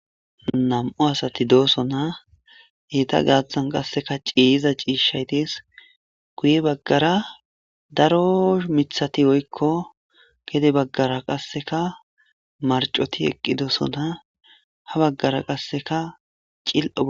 Nam'u asati dooso na heyta gaaththan qasseka ciyiza ciishaytis guye baggara daro mithati woykko gede baggara qasseka marcoti eqqi doosona ha baggara qasseka cil'oa.